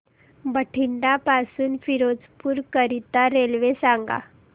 बठिंडा पासून फिरोजपुर करीता रेल्वे सांगा